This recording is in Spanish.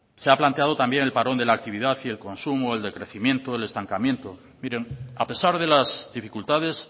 se ha planteado también el parón de la actividad y el consumo el decrecimiento el estancamiento miren a pesar de las dificultades